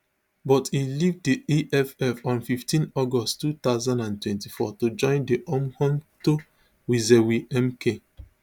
but e leave di eff on fifteen august two thousand and twenty-four to join di umkhonto wesizwe mk